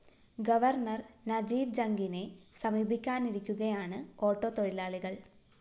governor Najeeb ജംഗിനെ സമീപിക്കാനിരിക്കുകയാണ് auto തൊഴിലാളികള്‍